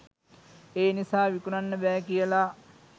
ඒ නිසා විකුණන්න බෑ කියලා.